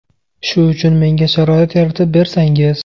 Shu uchun menga sharoit yaratib bersangiz.